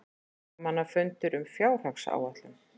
Fréttamannafundur um fjárhagsáætlun